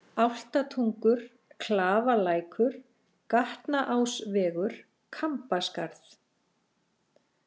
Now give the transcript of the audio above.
Álftatungur, Klafalækur, Gatnaásvegur, Kambaskarð